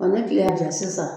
Ɔ ni kile y'a ja sisan